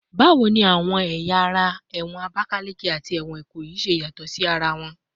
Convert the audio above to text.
Bawo ni awọn ẹya ara ẹwọn Abakaleke ati ẹwọn Ikoyi ṣe yatọ si ara wọn?